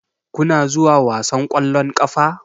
Kuna zuwa wasan ƙwallon ƙafa?